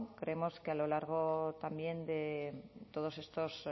creemos que a lo largo también de todos estos